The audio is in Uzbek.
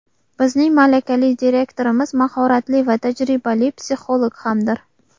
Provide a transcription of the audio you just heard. Bizning malakali direktorimiz mahoratli va tajribali psixolog hamdir.